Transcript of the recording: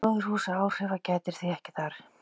Gróðurhúsaáhrifa gætir því ekki þar.